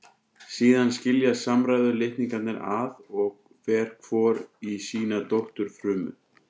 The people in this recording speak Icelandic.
Síðan skiljast samstæðu litningarnir að og fer hvor í sína dótturfrumu.